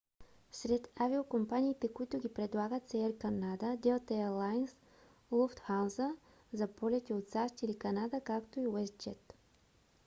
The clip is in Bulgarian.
сред авиокомпаниите които ги предлагат са air canada delta air lines lufthansa за полетите от сащ или канада както и westjet